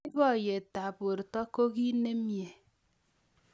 Boiboyetab borto ko kiy nemnyee